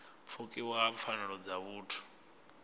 pfukiwa ha pfanelo dza vhuthu